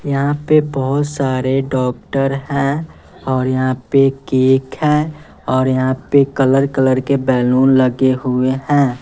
यहाँ पे बहुत सारे डॉक्टर हैं और यहाँ पे केक है और यहाँ पे कलर कलर के बैलून लगे हुए हैं।